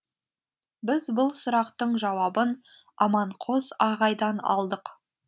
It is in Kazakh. біз бұл сұрақтың жауабын аманқос ағайдан алдық